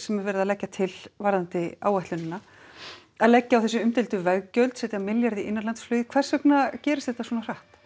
sem er verið að leggja til varðandi áætlunina að leggja á þessi umdeildu veggjöld setja milljarð í innanlandsflugið hvers vegna gerist þetta svona hratt